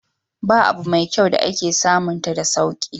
Ba abu mai kyau wanda ake samunta da sauki.